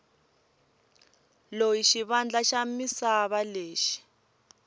loyi xivandla xa misava lexi